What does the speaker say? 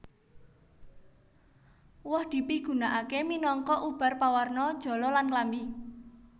Woh dipigunakaké minangka ubar pawarna jala lan klambi